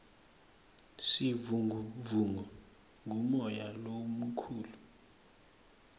sivunguvungu ngumoya lomukhulu